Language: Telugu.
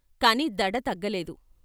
కాని దడ తగ్గలేదు.